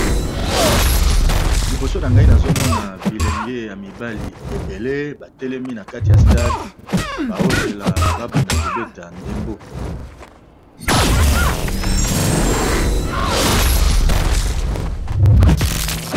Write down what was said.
Liboso na ngai nazomona bilenge ya mibali ebele batelemi na kati ya stade bao zela ba banda kobeta ndembo.